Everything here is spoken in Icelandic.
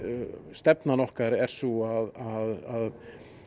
stefnan okkar er sú að